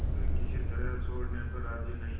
वे किसी तरह छोड़ने पर राजी नहीं